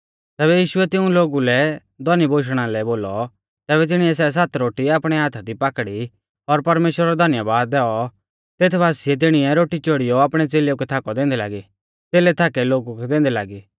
तैबै यीशुऐ तिऊं लोगु लै धौनी बोशणा लै बोलौ तैबै तिणीऐ सै सात रोटी आपणै हाथा दी पाकड़ी और परमेश्‍वरा रौ धन्यबाद दैऔ तेत बासिऐ तिणीऐ रोटी चोड़ियौ आपणै च़ेलेऊ कै थाकौ दैंदै लागी च़ेलै थाकै लोगु कै दैंदै लागी